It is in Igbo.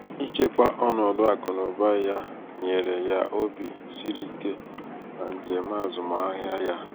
ichekwa ọnọdụ akụnaụba ya nyere ya obi siri ike na njem azụmahịa ya